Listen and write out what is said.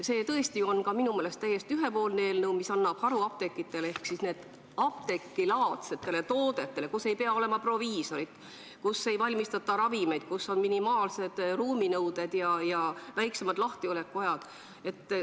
See on tõesti ka minu meelest täiesti ühepoolne eelnõu, mis annab suuremad võimalused haruapteekidele ehk apteegilaadsetele toodetele, kus ei pea olema proviisorit, kus ei valmistata ravimeid ning kus on minimaalsed ruuminõuded ja lühemad lahtiolekuajad.